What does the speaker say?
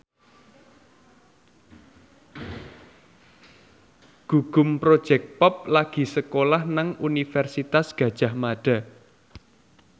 Gugum Project Pop lagi sekolah nang Universitas Gadjah Mada